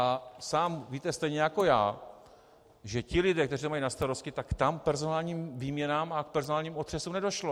A sám víte stejně jako já, že ti lidé, kteří to mají na starosti, tak tam k personálním výměnám a k personálním otřesům nedošlo.